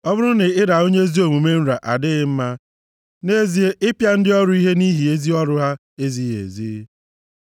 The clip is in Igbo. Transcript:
Ọ bụrụ na ịra onye ezi omume nra adịghị mma, nʼezie, ịpịa ndị ọrụ ihe nʼihi ezi ọrụ ha ezighị ezi.